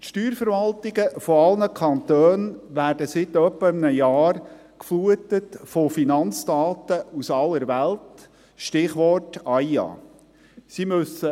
Die Steuerverwaltungen aller Kantone werden seit etwa einem Jahr geflutet mit Finanzdaten aus aller Welt, Stichwort Automatischer Informationsaustausch über Finanzkonten (AIA).